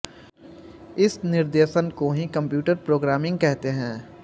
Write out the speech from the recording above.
इस निर्देशन को ही कम्प्यूटर प्रोग्रामिंग कहते हैं